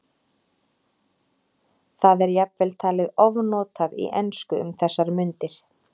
Það er jafnvel talið ofnotað í ensku um þessar mundir.